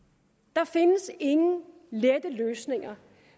der findes ingen lette løsninger